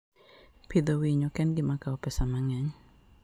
Pidho winy ok en gima kawo pesa mang'eny.